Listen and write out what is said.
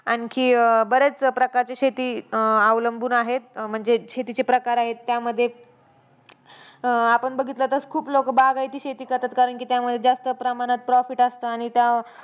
आणखी बऱ्याच प्रकारच्या शेती अं अवलंबून आहेत म्हणजे शेतीचे प्रकार आहेत त्यामध्ये. आपण बघितलं तर खूप लोकं बागायती शेती करतात. कारण की त्यामध्ये जास्त प्रमाणात profit असतं. आणि त्या